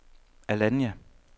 Alanya